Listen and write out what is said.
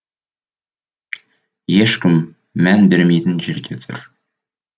ешкім мән беремейтін жерде тұр